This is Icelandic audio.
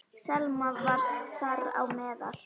Selma var þar á meðal.